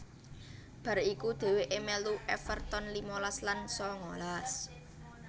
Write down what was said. Bar iku dhèwèkè mèlu Everton limalas lan sangalas